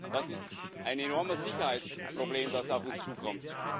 Das ist ein enormes Sicherheitsproblem, das auf uns zukommt.